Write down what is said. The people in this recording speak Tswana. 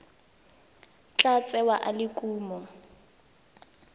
tla tsewa e le kumo